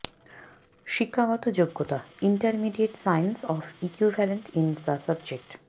শিক্ষাগত যোগ্যতাঃ intermediate science of equivalent in the subject